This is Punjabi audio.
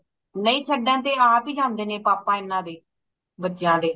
ਨਹੀਂ ਛੱਡਣ ਇਹ ਆਪ ਹੀ ਜਾਂਦੇ ਨੇ ਪਾਪਾ ਇਹਨਾਂ ਦੇ ਬੱਚਿਆਂ ਦੇ